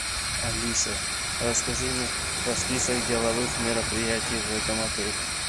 алиса расскажи мне про список деловых мероприятий в этом отеле